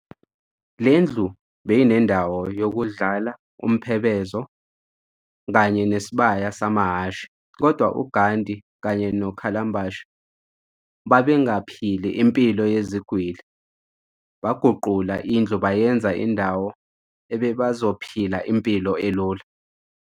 lendlu beyinendawo yokudlala umphebezo kanye nesibaya sama Hhashi kodwa uGhandi kanye no Kallenbach babengaphili impilo yezigwili baguqula indlu bayenza indawo ebebazophila impilo elula.